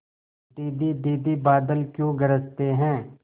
दीदी दीदी बादल क्यों गरजते हैं